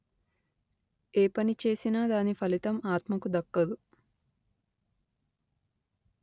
ఏ పని చేసినా దాని ఫలితం ఆత్మకు దక్కదు